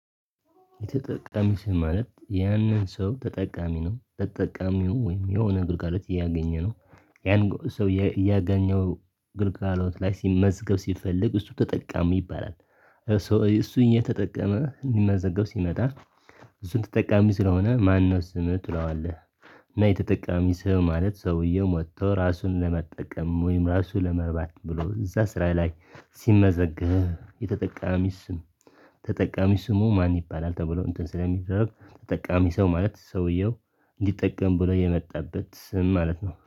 የተጠቃሚ ስም ማለት ያንን ሰው ግልጋሎትአአነው ተጠቃሚው ወይም የሆነ ግልጋሎት እያገኘ ነው ያን ሰው ያገኘው አገልገሎት ላይ መዝገብ ሲፈልግ እሱ ተጠቃሚ ይባላል። እሱ እየተጠቀመ ሊመዘገብ ሲመጣ እሱን ተጠቃሚ ስለሆነ ማነው ስምህ ትለዋለህ? እና የተጠቃሚ ስም ማለት ሰውየው መጥቶ ራሱን ለመጠቀም ወይም ራሱ ለመርባት ብሎ እዛ ስራ ላይ ሲመዘገብ የተጠቃሚ ስም ተጠቃሚ ስሙ ማን ይባላል ተብሎ እንትን ስለሚደረግ ተጠቃሚ ሰው ማለት ሰውየው እንዲጠቀም ብሎ የመጣበት ስም ማለት ነው